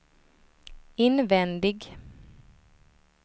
invändig